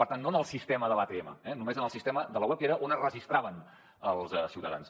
per tant no en el sistema de l’atm només en el sistema de la web que era on es registraven els ciutadans